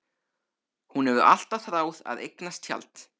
Hún hefur alltaf þráð að eignast tjald.